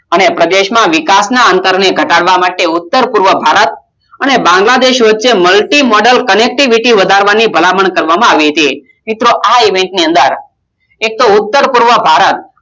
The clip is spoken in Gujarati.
અને પ્રદેશ ના વિકાશ ના અત્તરને ઘટાડવા માટે ઉત્તર પૂર્વ ભારત અને બાંગ્લાદેશ વચ્ચે મળતી મદદ Connectivity વધારવાની મિત્રો આ ઇવેન્ટ ની ભલામણ કરવા માં આવતી હતી. આ Event ની અંદર ઉત્તર પૂર્વ ભારત